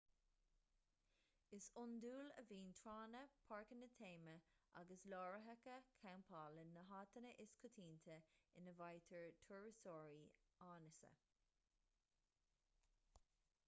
is iondúil a bhíonn tránna páirceanna téama agus láithreacha campála na háiteanna is coitianta ina bhfaightear turasóirí áineasa